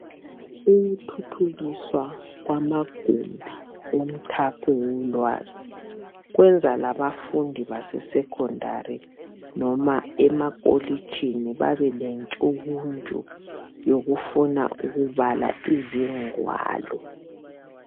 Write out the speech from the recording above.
ukuthuthukiswa kwamagumbi womthapho wolwazi kwenza labafundi basesecondary noma emakolitshini babe lentshukuntshu yokufuna ukubala izingwalo